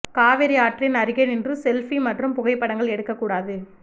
காவிரி ஆற்றின் அருகே நின்று செல்ஃபி மற்றும் புகைப்படங்கள் எடுக்கக் கூடாது